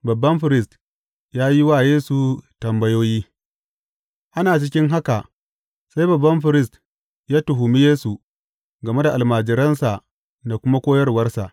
Babban firist ya yi wa Yesu tambayoyi Ana cikin haka, sai babban firist ya tuhumi Yesu game da almajiransa da kuma koyarwarsa.